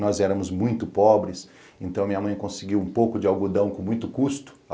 Nós éramos muito pobres, então a minha mãe conseguiu um pouco de algodão com muito custo.